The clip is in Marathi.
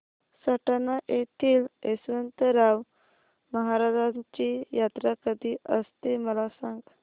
सटाणा येथील यशवंतराव महाराजांची यात्रा कशी असते मला सांग